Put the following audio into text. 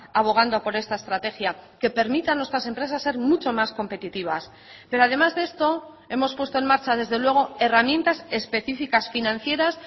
abogando por esta estrategia que permita a nuestras empresas ser mucho más competitivas pero además de esto hemos puesto en marcha desde luego herramientas especificas financieras